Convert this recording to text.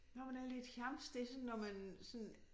Når man er lidt jamsk det sådan når man sådan